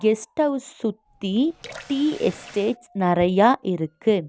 Guest house சுத்தி tea estates நறையா இருக்கு.